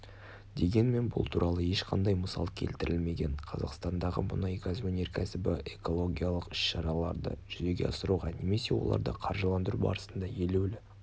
дегенмен бұл туралы ешқандай мысал келтірілмеген қазақстандағы мұнайгаз өнеркәсібі экологиялық іс-шараларды жүзеге асыруға немесе оларды қаржыландыру барысында елеулі